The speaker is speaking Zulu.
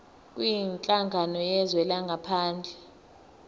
kwinhlangano yezwe langaphandle